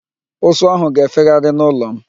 Ụsụ áhụ̀ ga-efegharị n'ụlọ m.